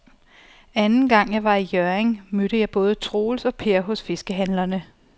Anden gang jeg var i Hjørring, mødte jeg både Troels og Per hos fiskehandlerne.